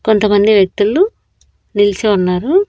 కొంతమంది వ్యక్తులు నిల్చో ఉన్నారు.